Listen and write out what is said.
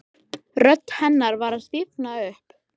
Eða kannski hugsaði ég alls ekki þannig.